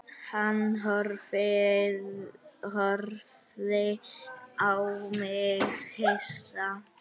Hann horfði á mig hissa.